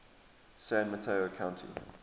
san mateo county